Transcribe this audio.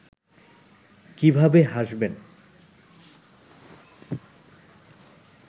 কিভাবে হাসবেন